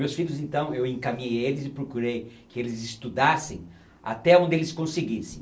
Meus filhos, então, eu encaminhei eles e procurei que eles estudassem até onde eles conseguissem.